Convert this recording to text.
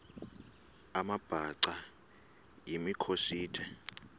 amabhaca yimikhosi the